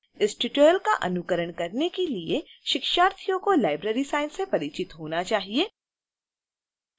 इस tutorial का अनुकरण करने के लिए शिक्षार्थियों को library science से परिचित होना चाहिए